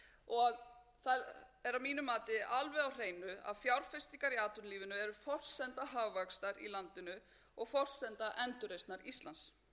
hreinu að fjárfestingar í atvinnulífinu eru forsenda hagvaxtar í landinu og forsenda endurreisnar íslands til þess að